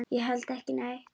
Ég held ekki neitt.